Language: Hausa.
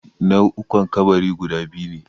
Nau'ukan kabari guda biyu ne